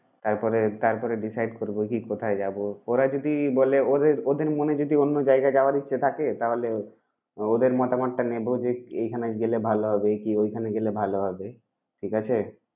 তারপরে তারপরে decide করব কি কোথায় যাব। ওরা যদি বলে ওদের ওদের মনে যদি অন্য জায়গায় যাওয়ার ইচ্ছা থাকে তাহলে ওদের মতামতটা নেবো যে এইখানে গেলে ভালো হবে, কি ওইখানে গেলে ভালো হবে। ঠিক আছে?